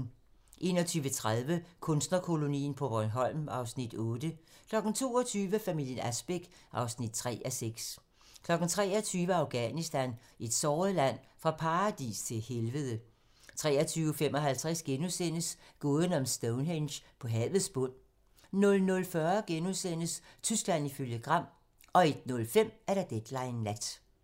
21:30: Kunstnerkolonien på Bornholm (Afs. 8) 22:00: Familien Asbæk (3:6) 23:00: Afghanistan - et såret land: Fra paradis til helvede 23:55: Gåden om Stonehenge på havets bund * 00:40: Tyskland ifølge Gram * 01:05: Deadline nat